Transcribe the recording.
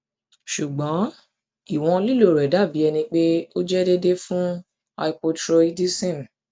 ṣugbọn iwọn lilo rẹ dabi ẹni pe o jẹ deede fun hypothyroidism